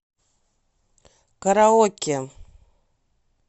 караоке